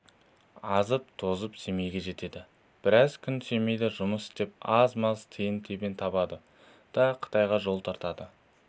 азып-тозып семейге жетеді біраз күн семейде жұмыс істеп аз-маз тиын-тебен табады да қытайға жол тартады